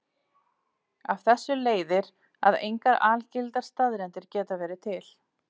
Af þessu leiðir að engar algildar staðreyndir geta verið til.